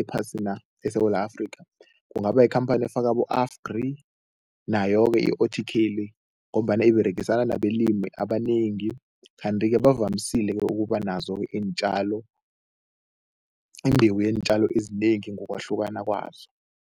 ephasina, eSewula Afrika. Kungaba yikhamphani efaka abo-AFGRI nayo-ke i-O_T_K le ngombana iberegisane nabalimi abanengi kanti-ke bavamisile ukuba nazo iintjalo, imbewu yeentjalo ezinengi ngokwahlukana kwazo.